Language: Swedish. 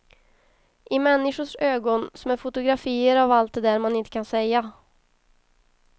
I människors ögon som är fotografier av allt det där man inte kan säga.